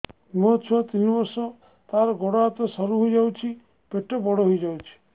ମୋ ଛୁଆ ତିନି ବର୍ଷ ତାର ଗୋଡ ହାତ ସରୁ ହୋଇଯାଉଛି ପେଟ ବଡ ହୋଇ ଯାଉଛି